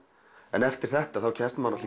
en eftir þetta kemst maður